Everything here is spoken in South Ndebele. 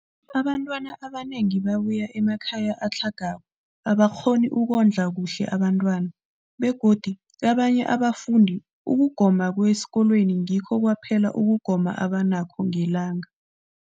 Abantwana abanengi babuya emakhaya atlhagako angakghoni ukondla kuhle abentwana, begodu kabanye abafundi, ukugoma kwesikolweni ngikho kwaphela ukugoma abanakho ngelanga.